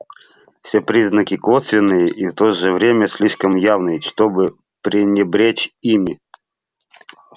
все признаки косвенные и в то же время слишком явные чтобы пренебречь ими